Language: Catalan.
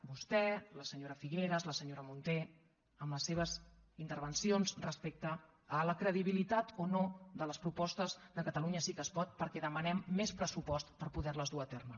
vostè la senyora figueras la senyora munté amb les seves intervencions respecte a la credibilitat o no de les propostes de catalunya sí que es pot perquè demanem més pressupost per poder les dur a terme